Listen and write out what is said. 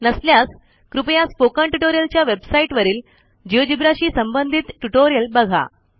नसल्यास कृपया स्पोकन ट्युटोरियलच्या वेबसाईटवरील Geogebraशी संबंधित ट्युटोरियल बघा